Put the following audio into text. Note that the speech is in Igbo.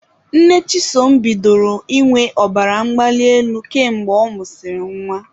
Nne Chisom bidoro ịnwe ọbara mgbali elu ka mgbe ọ mụsịrị nwa